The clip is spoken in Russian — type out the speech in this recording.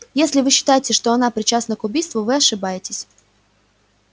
если вы считаете что она причастна к убийству вы ошибаетесь